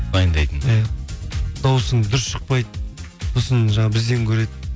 дайындайтын иә дауысың дұрыс шықпайды сосын жаңағы бізден көреді